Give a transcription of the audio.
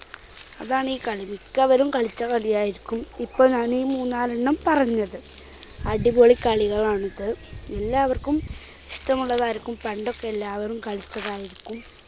അതാണീ കളി. മിക്കവരും കളിച്ച കളിയായിരിക്കും ഇപ്പോൾ ഞാനീ മൂന്നാലെണ്ണം പറഞ്ഞത്. അടിപൊളി കളികളാണിത്. എല്ലാവർക്കും ഇഷ്ടമുള്ളതായിരിക്കും പണ്ടൊക്കെ എല്ലാവരും കളിച്ചതായിരിക്കും.